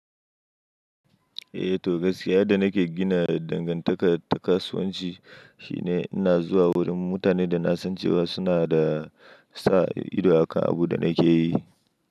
Eh to gaskiya da nake gina dangantaka ta kasuwanci shine ina zuwa wurin mutanen da na san cewa suna da sa ido akan abin da nake yi.